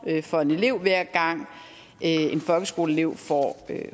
for en elev hver gang en folkeskoleelev får